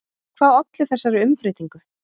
En hvað olli þessari umbreytingu?